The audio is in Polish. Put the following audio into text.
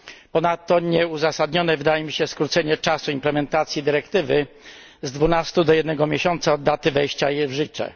Ponadto nieuzasadnione wydaje mi się skrócenie czasu implementacji dyrektywy z dwunastu do jednego miesiąca od daty jej wejścia w życie.